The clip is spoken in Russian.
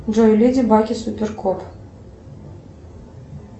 джой леди баг и супер кот